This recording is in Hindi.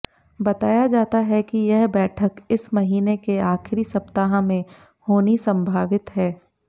बताया जाता है कि यह बैठक इस महीने के आखिरी सप्ताह में होनी संभावित है